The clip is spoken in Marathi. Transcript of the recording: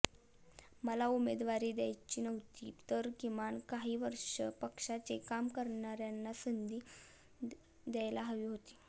मला उमेदवारी द्यायची नव्हती तर किमान काही वर्षे पक्षाचे काम करणाऱ्यांना संधी द्यायला हवी होती